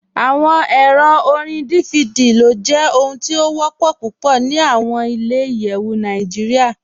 Awọn èrò orín DVD ló jẹ ohun tí o wọ́pọ̀ púpọ̀ ní awọn ilẹ̀-ìyẹwu Nàìjíríà ni igbà atijọ̀.